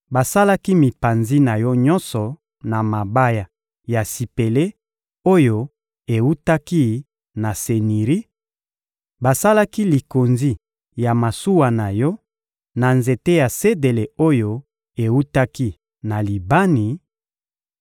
Basalaki mipanzi na yo nyonso na mabaya ya sipele oyo ewutaki na Seniri; basalaki likonzi ya masuwa na yo na nzete ya sedele oyo ewutaki na Libani;